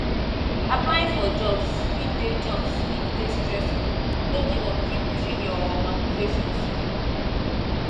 applying for jobs fit dey jobs fit dey stressful no give up keep pushing your um applications